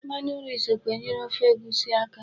Mmanụ nri sokwa enyere ofe egusi aka.